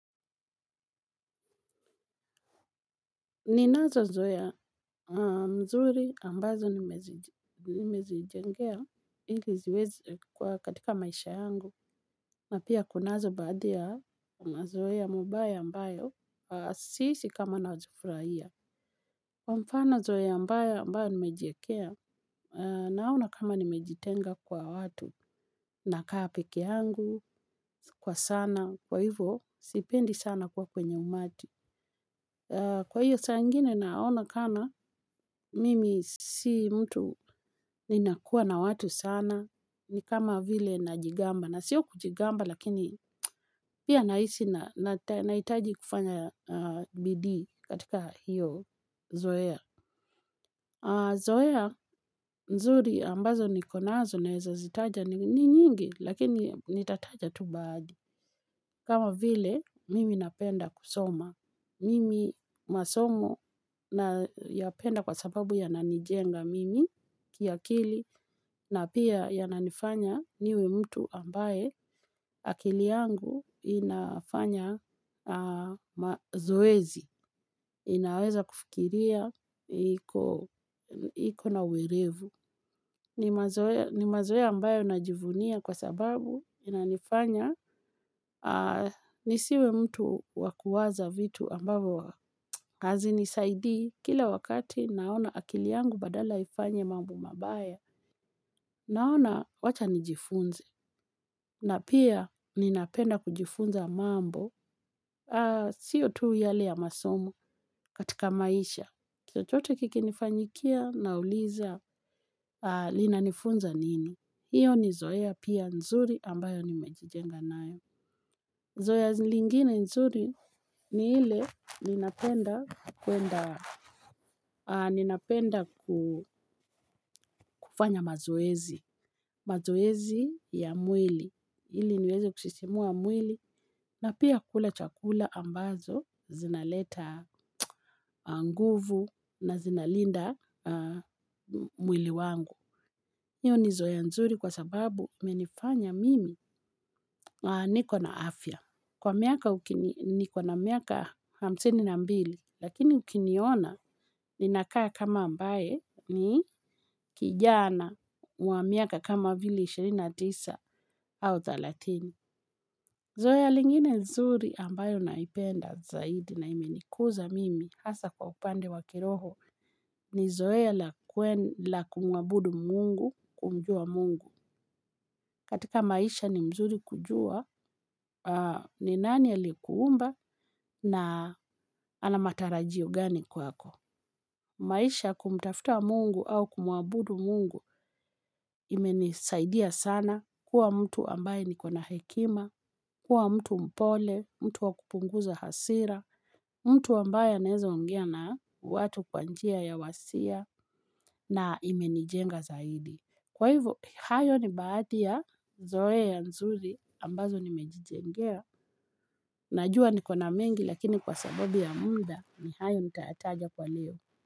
Ninazozoea mzuri ambazo nimezijengea ili ziweze kuwa katika maisha yangu. Na pia kunazo baadi ya mazoea mabaya ambayo siisi kama nazifurahia. Mfano zoea mbaya ambayo nimejiekea naona kama nimejitenga kwa watu nakaa peke yangu kwa sana kwa hivo sipendi sana kwa kwenye umati. Kwa hiyo saa ingine naona kana, mimi si mtu ninakuwa na watu sana, ni kama vile najigamba, na sio kujigamba lakini pia naisi naitaji kufanya bidii katika hiyo zoea. Zoea nzuri ambazo niko nazo naeza zitaja ni nyingi lakini nitataja tu baadi. Kama vile mimi napenda kusoma. Mimi masomo nayapenda kwa sababu yananijenga mimi kiakili na pia yananifanya niwe mtu ambaye akili yangu inafanya zoezi. Inaweza kufikiria iko na uerevu. Ni mazoea ambayo najivunia kwa sababu inanifanya nisiwe mtu wa kuwaza vitu ambavyo hazinisaidi. Kila wakati naona akili yangu badala ya ifanye mambo mabaya. Naona wacha nijifunze. Na pia ninapenda kujifunza mambo. Sio tu yale ya masomo katika maisha. Chochote kikinifanyikia nauliza linanifunza nini. Iyo ni zoea pia nzuri ambayo nimejijenga nayo. Zoea zi lingine nzuri ni ile ninapenda kwenda, ninapenda kufanya mazoezi. Mazoezi ya mwili. Ili niweze kusisimua mwili na pia kula chakula ambazo zinaleta nguvu na zinalinda mwili wangu. Iyo ni zoea nzuri kwa sababu imenifanya mimi niko na afya. Kwa miaka nikona miaka hamsini na mbili lakini ukiniona ninakaa kama ambae ni kijana wa miaka kama vile ishirini na tisa au thelathini. Zoea lingine nzuri ambayo naipenda zaidi na imenikuza mimi hasa kwa upande wa kiroho ni zoea la kumwabudu mungu kumjua mungu. Katika maisha ni mzuri kujua, ni nani alikuumba na ana matarajio gani kwako. Maisha kumtafuta mungu au kumuabudu mungu imenisaidia sana kuwa mtu ambaye niko na hekima, kuwa mtu mpole, mtu wa kupunguza hasira, mtu ambaye anaeza ongea na watu kwa njia ya wasia na imenijenga zaidi. Kwa hivo, hayo ni baathi ya zoea nzuri ambazo nimejijengea. Najua niko na mengi lakini kwa sababu ya mda ni hayo nitayataja kwa leo.